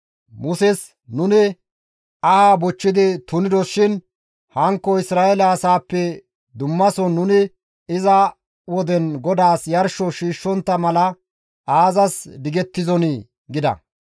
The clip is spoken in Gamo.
Muses, «Nuni aha bochchidi tunidos shin hankko Isra7eele asaappe dummason nuni iza woden GODAAS yarsho shiishshontta mala aazas digettizonii?» gida.